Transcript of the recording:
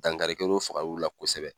Dankari kɛr'o fagar'u ra kosɛbɛ.